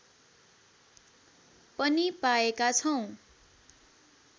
पनि पाएका छौँ